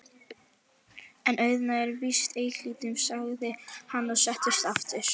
En auðnan er víst einhlítust, sagði hann og settist aftur.